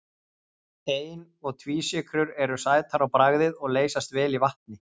Ein- og tvísykrur eru sætar á bragðið og leysast vel í vatni.